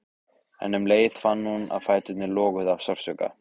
En um leið fann hún að fæturnir loguðu af sársauka.